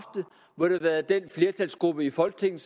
været den flertalsgruppe i folketinget